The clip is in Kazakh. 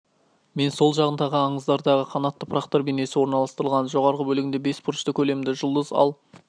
мен сол жағында аңыздардағы қанатты пырақтар бейнесі орналастырылған жоғарғы бөлігінде бес бұрышты көлемді жұлдыз ал